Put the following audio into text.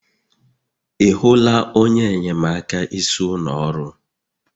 Ị hụla onye enyemaka isi ụlọ ọrụ